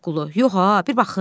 Şaqqulu: Yox ha, bir baxım.